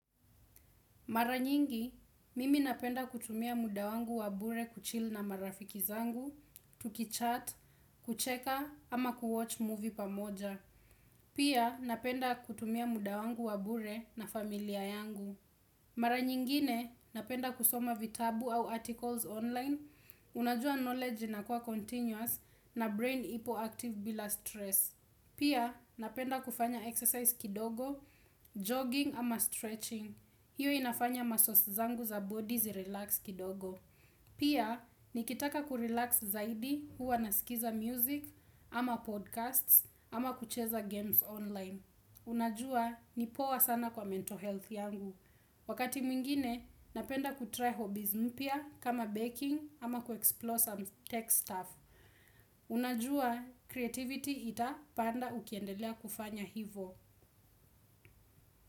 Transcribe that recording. Mara nyingi, mimi napenda kutumia muda wangu wa bure kuchil na marafiki zangu, tukichat, kucheka ama kuwatch movie pamoja. Pia napenda kutumia muda wangu wa bure na familia yangu. Mara nyingine, napenda kusoma vitabu au articles online, unajua knowledge na kwa continuous na brain ipo active bila stress. Pia, napenda kufanya exercise kidogo, jogging ama stretching. Hiyo inafanya muscles zangu za bodi zi relax kidogo. Pia, nikitaka kurelax zaidi huwa nasikiza music ama podcasts ama kucheza games online. Unajua, nipoa sana kwa mental health yangu. Wakati mwingine, napenda kutry hobbies mpya kama baking ama kuexplore some tech stuff. Unajua, creativity itapanda ukiendelea kufanya hivo.